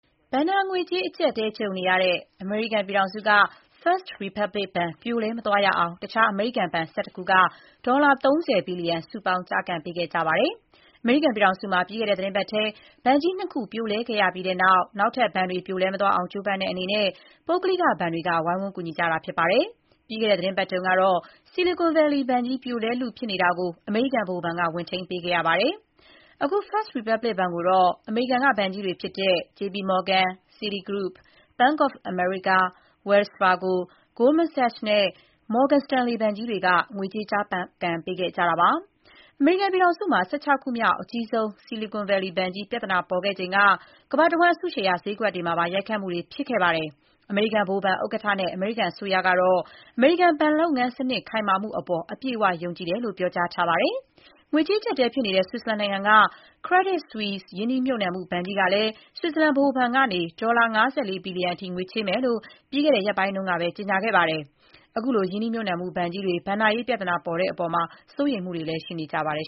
ဘဏ္ဍာငွေကြေး အကျပ်အတည်း ကြုံနေရတဲ့ အမေရိကန်က First Republic ဘဏ် ပြိုလဲ မသွားရအောင် တခြား အမေရိကန် ဘဏ် ၁၁ ခုက ဒေါ်လာ ၃၀ ဘီလျံ စုပေါင်း ကျားကန်ပေးခဲ့ကြပါတယ်။ အမေရိကန်ပြည်ထောင်စုမှာ ပြီးခဲ့တဲ့ သီတင်းပတ်ထဲ ဘဏ်ကြီး ၂ ခု ပြိုလဲခဲ့ရပြီးတဲ့နောက် နောက်ထပ် ဘဏ်တွေ ပြိုလဲ မသွားအောင် ကြိုးပမ်းတဲ့အနေနဲ့ ပုဂ္ဂလိကဘဏ်တွေက ဝိုင်းဝန်း ကူညီခဲ့ကြတာဖြစ်ပါတယ်။ ပြီးခဲ့တဲ့ သီတင်းပါတ်တုန်းကတော့ Silicon Valley ဘဏ်ကြီး ပြိုလဲလုဖြစ်နေတာကို အမေရိကန်ဗဟိုဘဏ်က ဝင်ထိန်းပေးခဲ့ရပါတယ်။ အခု First Republic ဘဏ်ကိုတော့ အမေရိကန်က ဘဏ်ကြီးတွေဖြစ်တဲ့ JPMorgan, Citigroup, Bank of America, Wells Fargo, Goldman Sachs နဲ့ Morgan Stanley ဘဏ်ကြီးတွေ ဝင်ထိန်းပေးခဲ့တာပါ။ အမေရိကန်ပြည်ထောင်စုမှာ ၁၆ ခုမြောက် အကြီးဆုံး Silicon Valley ဘဏ်ကြီးပြဿနာပေါ်ခဲ့စဉ်က ကမ္ဘာတဝန်း အစုရှယ်ယာ ဈေးကွက်တွေမှာပါ ရိုက်ခတ်မှုတွေ ဖြစ်ခဲ့ပါတယ်။ အမေရိကန် ဗဟိုဘဏ်ဥက္ကဋ္ဌနဲ့ အမေရိကန်အစိုးရကတော့ အမေရိကန် ဘဏ်လုပ်ငန်းစနစ်ခိုင်မာမှုအပေါ် အပြည့်အဝ ယုံကြည်တယ်လို့ ပြောကြားထားပါတယ်။ ငွေကြေးအကြပ်အတည်ဖြစ်နေတဲ့ ဆွစ်ဇာလန်နိုင်ငံက Credit Suisse ရင်းနှီးမြှုပ်နှံမှု ဘဏ်ကြီးကလည်း ဆွစ်ဇာလန်ဗဟိုဘဏ်ကနေ ဒေါ်လာ ၅၄ ဘီလျံံအထိ ငွေချေးမယ်လို့ ပြီးခဲ့တဲ့ရက်ပိုင်းကပဲ ကြေညာခဲ့ပါတယ်။ ခုလို ရင်းနှီးမြှပ်နှံမှုဘဏ်တွေ ဘဏ္ဍာရေးပြဿနာပေါ်နေတဲ့အပေါ် စိုးရိမ်မှုတွေလည်း ရှိနေကြပါတယ်